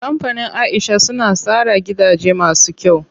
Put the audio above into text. Kampanin Aisha suna tsara gidaje masu kyau.